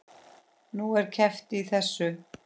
Nú, er keppt í þessu?